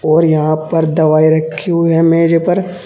और यहां पर दवाई रखी हुई है मेज पर।